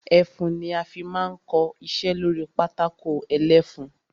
Ẹfun ni a fi máa ń kọ iṣẹ́ lórí pátákó ẹlẹ́fun.